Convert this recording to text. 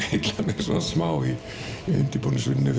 heillað mig smá í undirbúningsvinnunni